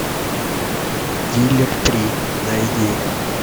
дилер три найди